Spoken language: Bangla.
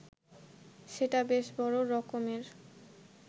সেটা বেশ বড় রকমের